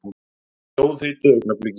Á sjóðheitu augnabliki.